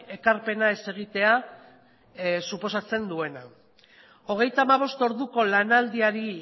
ekarpena ez egitea suposatzen duena hogeita hamabost orduko lanaldiari